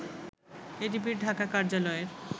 এডিবির ঢাকা কার্যালয়ের